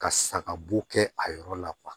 Ka saga bo kɛ a yɔrɔ la